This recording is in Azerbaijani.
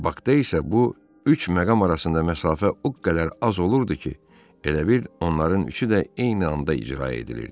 Bakda isə bu üç məqam arasında məsafə o qədər az olurdu ki, elə bil onların üçü də eyni anda icra edilirdi.